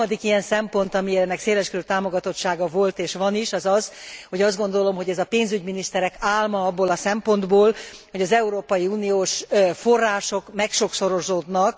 A harmadik ilyen szempont, aminek széles körű támogatottsága volt és van is, az az, hogy azt gondolom, hogy ez a pénzügyminiszterek álma, abból a szempontból, hogy az Európai Uniós források megsokszorozódnak.